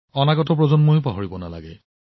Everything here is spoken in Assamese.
আগন্তুক প্ৰজন্মইও পাহৰিব নালাগে